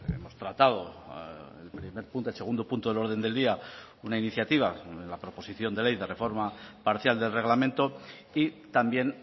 hemos tratado el primer punto el segundo punto del orden del día una iniciativa la proposición de ley de reforma parcial del reglamento y también